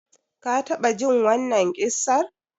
Ka taɓa jin wannan ƙissar?